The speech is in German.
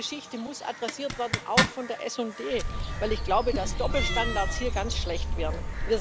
Diese Geschichte muss adressiert worden, auch von der SD, weil ich glaube, dass Doppelstandards hier ganz schlecht wären.